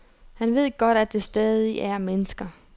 Han ved godt, at der stadig er mennesker.